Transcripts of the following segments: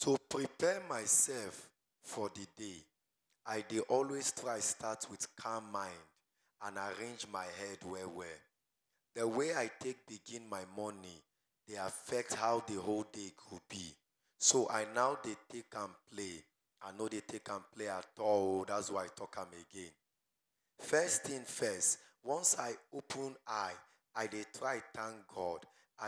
Too prepare myself for d day i dey always start with calm mind and arrange my head well well, d way i take begin my morning dey affect how my whole day go b so i no dey take am play, i no dey take am play at all oh dats why i talk am again, first thing first once i open eye i dey try thank God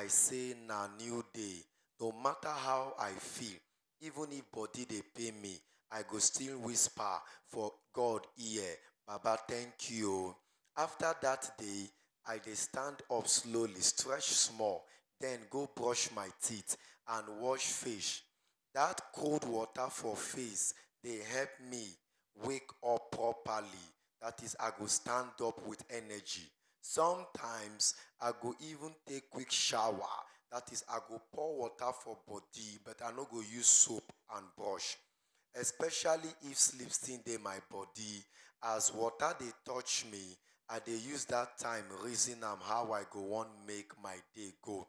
sey na new day no mata how i feel even if body dey pain me i go still wisper for God ear, baba thnak you oh, afta dat day i dey stand up slowly strech small den go brush my teeth and wash face, dat cold water for face dey help me wake up properly dat is i go stand up with energy, somtimes i go even take quick showa dat is i go pour water for body but i no go use soap and sponge especially if sleep still dey my body, as water dey touch me i dey use dat time reason am how i wan make my day go,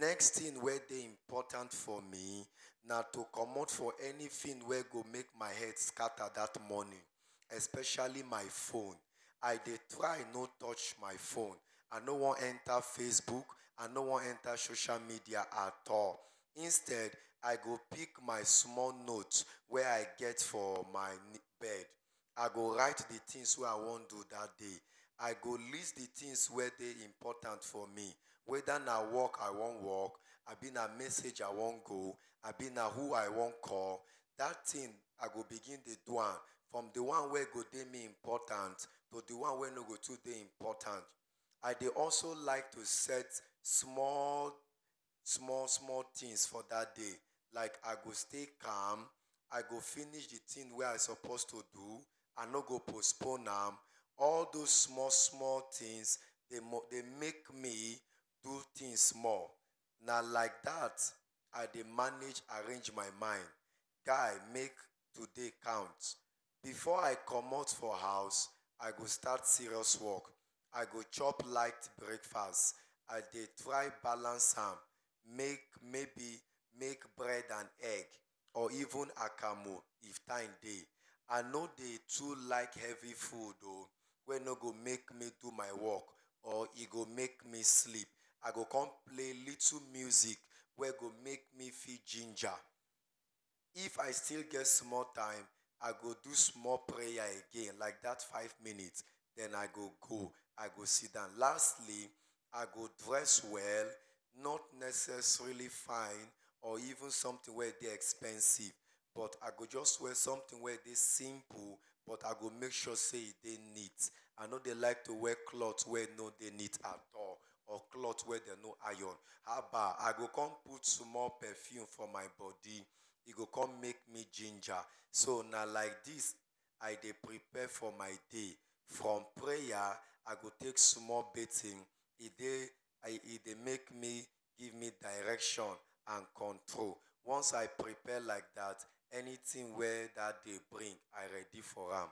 next thing wey dey important for me na to commot from anything wey go scatter my head dat morning especially my phone, i dey try no touch my phone, i no wan enta faceook, i no wan enta social media at all instead i go pick my small note wey i get for my bed, i go write d things wey i wan do dat day, i go list d things wey dey important for me, weda na work i wan work abi na message i wan go abi na who i wan call, dat thing i go begin dey do am from d one wey dey important to d one wey no dey too important, i dey also like to set small small things for dat day, like i go stay calm i go finish d thing wey i suppose to do, i no go postpone am, all those small small things dey make me to do things small, na like dat i dey arrange my mind make today count, before i commot for house i go start serious work, i go chop light braekfast i dey try balance am, maybe make bread and egg or even akamu if time dey, i no dey too like heavy food oh wey npo go fit make me do my work or e go make me sleep, i go con play little music wey go make me feel ginger, if i still get small time i go do small prayer like dat five minute, den i go go, i go sidon lastly i go dress well not necessarily fine but even something wey dey expensive but i go jus wear something wey e dey simple but i go make sure say e dey neat, i no dey like to wear cloth wey no dey neat at all or wey dem no iron, haba i go con put small perfume for my body e go con make me ginger so na like dis i dey prepare for my day from prayer, i go take small bathing e dey give me small direction and control, once i prepare like dat anything wey dat day bring i ready for am.